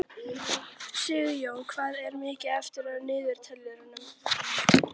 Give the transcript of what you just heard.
Sigjón, hvað er mikið eftir af niðurteljaranum?